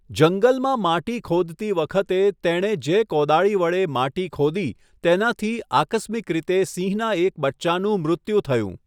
જંગલમાં માટી ખોદતી વખતે, તેણે જે કોદાળી વડે માટી ખોદી તેનાથી આકસ્મિક રીતે સિંહના એક બચ્ચાનું મૃત્યુ થયું.